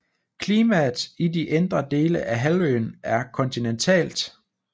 Klimaet i de indre dele af halvøen er kontinentalt